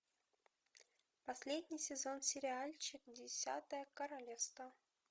последний сезон сериальчик десятое королевство